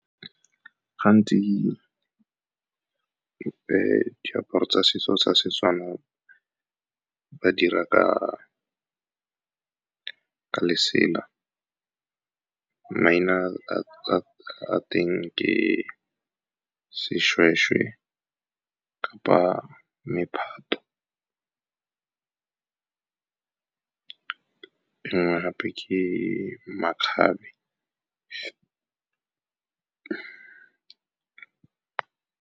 Gantsi, diaparo tsa setso tsa seTswana ba dira ka lesela. Maina a teng ke seshweshwe kapa mephato, e nngwe gape ke makgabe.